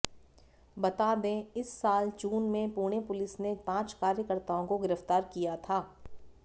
बता दें इस साल जून में पुणे पुलिस ने पांच कार्यकर्ताओं को गिरफ्तार किया था